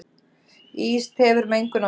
Ís tefur mengunarvarnir